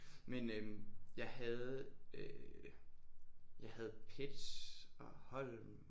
Men øh jeg havde øh jeg havde Petz og Holm